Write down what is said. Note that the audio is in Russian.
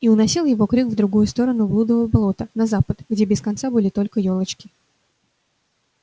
и уносил его крик в другую сторону блудова болота на запад где без конца были только ёлочки